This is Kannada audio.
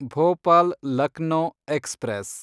ಭೋಪಾಲ್ ಲಕ್ನೋ ಎಕ್ಸ್‌ಪ್ರೆಸ್